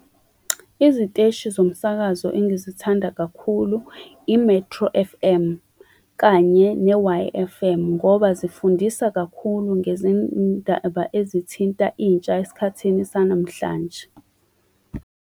Iziteshi zomsakazo engizithandayo kakhulu, i-Metro F_M kanye ne-Y F_M ngoba zifundisa kakhulu ngezindaba ezithinta intsha esikhathini sanamhlanje.